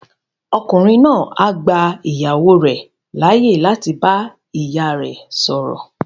Ọkùnrin náà á gba ìyàwó rẹ̀ láyè láti bá ìyá rẹ sọ̀rọ̀